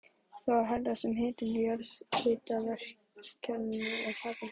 Það er því hærra sem hitinn í jarðhitakerfinu er hærri.